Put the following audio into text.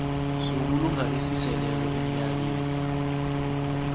sobulunga esiseleko emnyakeni